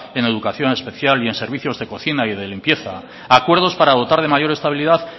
en educación especial y en servicios de cocina y de limpieza acuerdos para dotar de mayor estabilidad